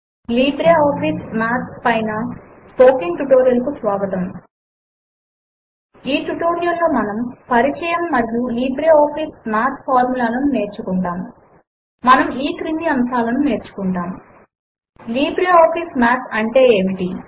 LibreOffice Math పైన spoken tutorial కు స్వాగతము ఈ ట్యుటోరియల్ లో మనము పరిచయము మరియు లిబ్రేఆఫీస్ మాథ్ ఫార్ములా లను నేర్చుకుంటాము మనము ఈ క్రింది అంశములు నేర్చుకుంటాము లిబ్రేఆఫీస్ మాథ్ అంటే ఏమిటి